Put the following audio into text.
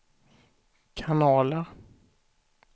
kanaler